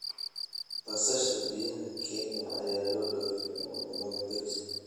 Basasha biyaha Kenya ayaa loo dhoofiyaa wadamada dariska ah.